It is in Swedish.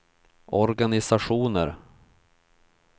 organisationer